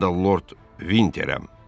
Mən də Lord Vinterəm.